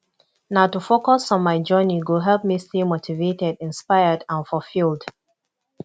na to focus on my journey go help me stay motivated inspired and fulfilled